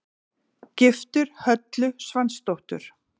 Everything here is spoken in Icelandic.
Giftur Höllu Svansdóttur.